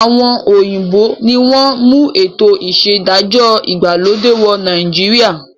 Àwọn òyìnbó ni wọn mú ètò ìṣedájọ́ ìgbàlódé wọ̀ Nàìjíríà